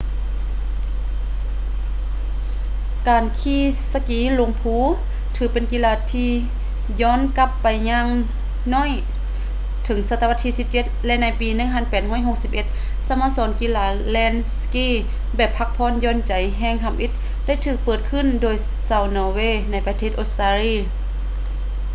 ການຂີ່ສະກີລົງພູ ຖືເປັນກິລາທີ່ຢ້ອນກັບໄປຢ່າງໜ້ອຍເຖິງສັດຕະວັດທີ 17 ແລະ ໃນປີ 1861 ສະໂມສອນກິລາແລ່ນສະກີແບບພັກຜ່ອນຢ່ອນໃຈແຫ່ງທຳອິດ ໄດ້ຖືກເປີດຂຶ້ນໂດຍຊາວນໍເວ ໃນປະເທດອົດສະຕາລີ